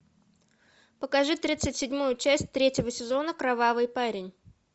покажи тридцать седьмую часть третьего сезона кровавый парень